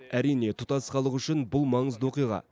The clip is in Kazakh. әрине тұтас халық үшін бұл маңызды оқиға